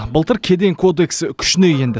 былтыр кеден кодексі күшіне енді